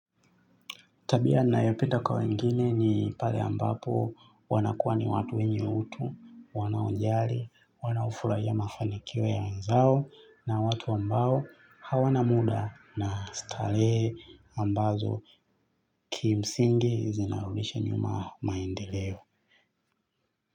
Tabia ninayopenda kwa wengine ni pale ambapo wanakuwa ni watu wenye utu, wanaojali, wanaofurahia mafanikio ya wenzao na watu ambao hawana muda na starehe ambazo kimsingi zinarudisha nyuma maendeleo.